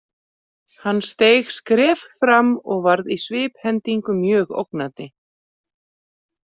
Hann steig skref fram og varð í sviphendingu mjög ógnandi.